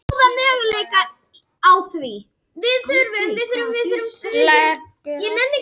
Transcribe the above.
Leggur allt í sölurnar